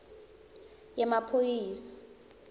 yemaphoyisa